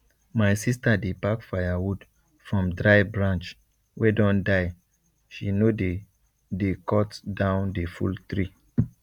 my sister dey pack firewood from dry branch wey don die she no dey dey cut down the full tree